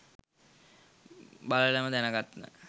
බලලම දැනගන්න